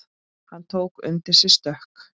Hann tók undir sig stökk.